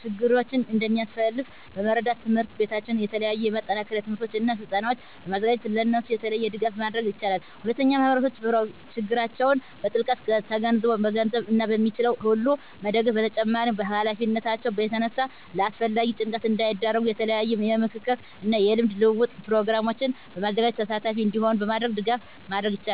ችግሮችን እንደሚያሳልፍ በመረዳት ትምሕርት ቤታቸው የተለያዩ የማጠናከሪያ ትምህርቶችን እና ስልጠናዎችን በማዘጋጀት ለእነሱ የተለየ ድጋፍ ማድረግ ይችላል። ሁለተኛ ማህበረሰቡ ችግራቸውን በጥልቀት ተገንዝቦ በገንዘብ እና በሚችለው ሁሉ መደገፍ በተጨማሪም ከሀላፊነታቸው የተነሳ ለአላስፈላጊ ጭንቀት እንዳይዳረጉ የተለያዩ የምክክር እና የልምድ ልውውጥ ፕሮግራሞችን በማዘጋጀት ተሳታፊ እንዲሆኑ በማድረግ ድጋፍ ማድረግ ይቻላል።